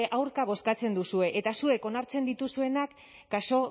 aurka bozkatzen duzue eta zuek onartzen dituzuenak kasu